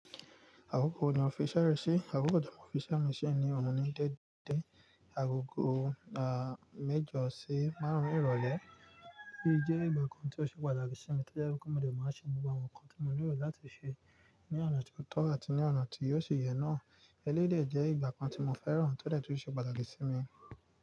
Àkókò wo ni ọ́fí iṣẹ́ rẹ ṣì. Àkókò tí mo fi iṣẹ́ mi ni ọ̀ún ní dẹ́dẹ́ agogo à mẹ́jọ sí márùn-ún ìrọ̀lẹ́. Eléyìí jẹ́ ìgbà kan tí ó ṣe pàtàkì sí mi tí ó jẹ́ wípé mọ dé má ṣe gbogbo àwọn nǹkan tí mo nílò láti ṣe ní ọ̀nà tí ó tọ́ àti ní ọ̀nà tí ò ṣì yẹ náà. Eléyìí dè jẹ́ ìgbà kan tí mo fẹ́ràn tí ó dé tún ṣe pàtàkì sí mi.